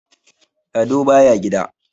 Lado baya gida.